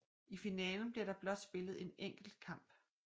I finalen bliver der blot spillet én enkelt kamp